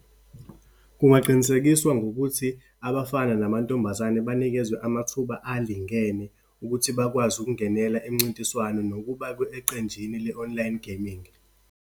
Kungaqinisekiswa ngokuthi abafana namantombazane banikezwe amathuba alingene, ukuthi bakwazi ukungenela imincintiswano nokuba eqenjini le-online gaming.